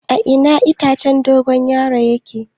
A ina itacen dogon yaro yake?